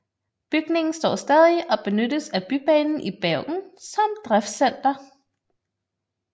Bygningen står stadig og benyttes af Bybanen i Bergen som driftscenter